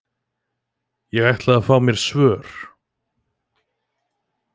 Ég ætlaði mér að fá svör.